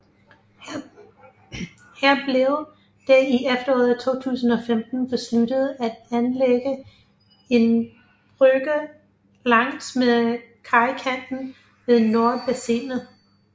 Her blev det i efteråret 2015 besluttet at anlægge en brygge langs med kajkanten ved Nordbassinet